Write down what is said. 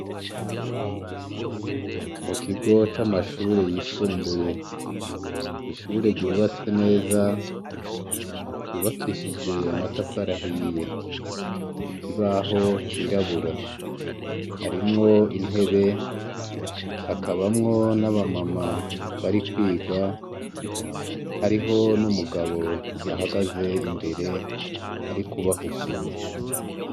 Mukigo c’amashure yisumbuye, ishure ryubatse neza, ryubakishije amatafari ahiye, ikibaho cirabura, harimwo intebe, hakabamwo naba mama barikwiga, hariho n’umugabo ahagaze imbere arikubahugura.